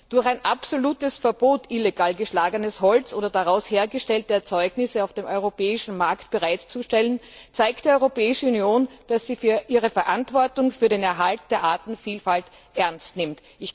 Durch ein absolutes Verbot, illegal geschlagenes Holz oder daraus hergestellte Erzeugnisse auf dem europäischen Markt bereitzustellen, zeigt die Europäische Union, dass sie ihre Verantwortung für den Erhalt der Artenvielfalt ernst nimmt.